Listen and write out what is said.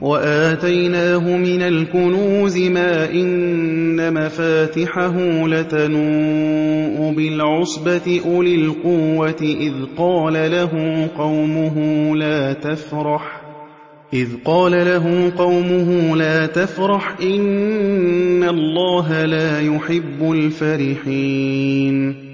وَآتَيْنَاهُ مِنَ الْكُنُوزِ مَا إِنَّ مَفَاتِحَهُ لَتَنُوءُ بِالْعُصْبَةِ أُولِي الْقُوَّةِ إِذْ قَالَ لَهُ قَوْمُهُ لَا تَفْرَحْ ۖ إِنَّ اللَّهَ لَا يُحِبُّ الْفَرِحِينَ